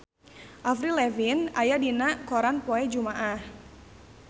Avril Lavigne aya dina koran poe Jumaah